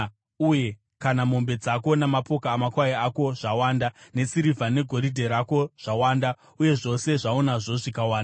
uye kana mombe dzako namapoka amakwai ako zvawanda, nesirivha negoridhe rako zvawanda uye zvose zvaunazvo zvikawanda,